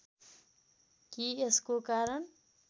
कि यसको कारण